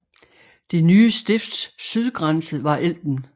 Det nye stifts sydgrænse var Elben